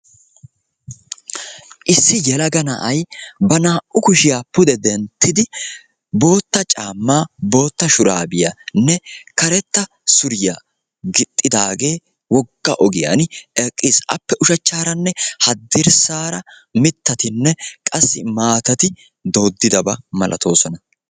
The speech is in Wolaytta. Issi yelaga na'ay ba naa''u kushiya pude denttidi bootta caama, bootta shurabiyanne karetta suriya gixxidaage wogga ogiyaan eqqiis. Appe ushshachcharanne haddirssaara mittatine qassi maatati dooddidaba malaatoosoona.